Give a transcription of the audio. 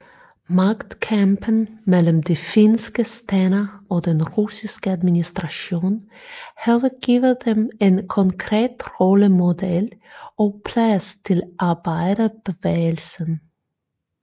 Magtkampen mellem de finske stænder og den russiske administration havde givet dem en konkret rollemodel og plads til arbejderbevægelsen